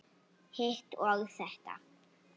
Hitt og þetta.